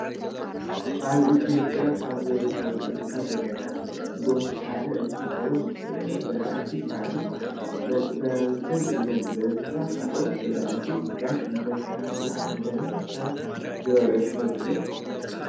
ኣብ ኢትዮጵያ ካብ ዝርከቡ እንስሳ ዘገዳም ጎሽ ሓደ እንትከውን በላዕቲ ሳዕርን መጥበውትን እዮም። ብኣንበሳን ካልኦት በላዕቲ ስጋን እንዳተሃደኑ ከም ዝብልዑ ትፈልጡ ዶ ?